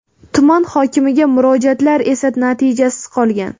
Tuman hokimiga murojaatlar esa natijasiz qolgan.